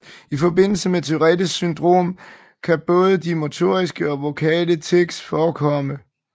I forbindelse med Tourettes syndrom kan både de motoriske og vokale tics forekomme